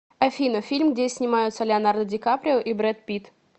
афина фильм где снимаются леонардо дикаприо и бред пит